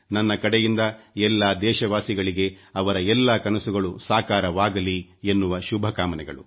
ನನ್ನ ಕಡೆಯಿಂದ ಎಲ್ಲಾ ದೇಶವಾಸಿಗಳಿಗೆ ಅವರ ಎಲ್ಲಾ ಕನಸುಗಳು ಸಾಕಾರವಾಗಲಿ ಎನ್ನುವ ಶುಭಕಾಮನೆಗಳು